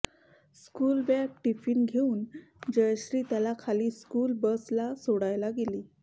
school bag tiffin घेवून जयश्री त्याला खाली स्कूल बस ला सोडायला गेली